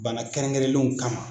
Bana kɛrɛnkɛrɛnlen kama.